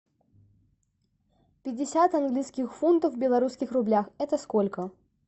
пятьдесят английских фунтов в белорусских рублях это сколько